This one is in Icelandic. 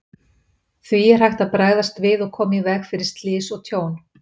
Því er hægt að bregðast við og koma í veg fyrir slys og tjón.